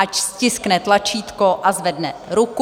Ať stiskne tlačítko a zvedne ruku.